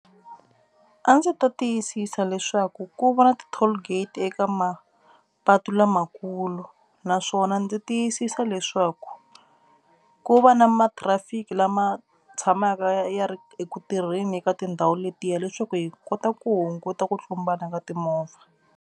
A ndzi ta tiyisisa leswaku ku va na ti-toll gate eka mapatu lamakulu naswona ndzi tiyisisa leswaku ku va na matrafiki lama tshamaka ya ri eku tirheni ka tindhawu letiya leswaku hi kota ku hunguta ku tlumbana ka timovha.